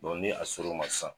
Dɔn ni a ser'o ma san